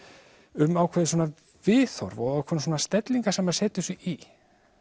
um ákveðið viðhorf og ákveðnar stellingar sem maður setur sig í